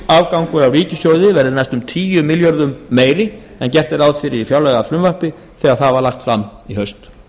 tekjuafgangur af ríkissjóði verði næstum tíu milljörðum króna meiri en gert var ráð fyrir í fjárlagafrumvarpinu þegar það var lagt fram í haust